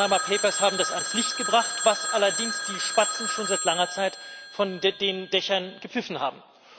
Die Panama Papers haben das ans Licht gebracht, was allerdings die Spatzen schon seit langer Zeit von den Dächern gepfiffen haben.